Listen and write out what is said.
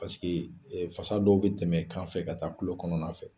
Paseke fasa dɔw bɛ tɛmɛ kan fɛ ka taa kulo kɔnɔna fɛ